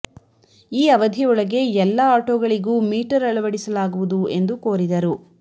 ಈ ಅವಧಿ ಒಳಗೆ ಎಲ್ಲ ಆಟೋಗಳಿಗೂ ಮೀಟರ್ ಅಳವಡಿಸಲಾಗುವುದು ಎಂದು ಕೋರಿದರು